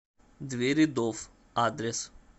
дверидофф адрес